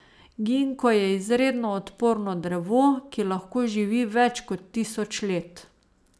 Ginko je izredno odporno drevo, ki lahko živi več kot tisoč let.